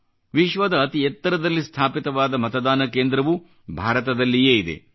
ವಿಶ್ವದ ಅತಿ ಎತ್ತರದಲ್ಲಿ ಸ್ಥಾಪಿತವಾದ ಮತದಾನ ಕೇಂದ್ರವೂ ಭಾರತದಲ್ಲಿಯೇ ಇದೆ